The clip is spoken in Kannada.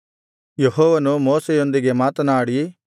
ಯೆಹೋವನು ಮೋಶೆಯೊಂದಿಗೆ ಮಾತನಾಡಿ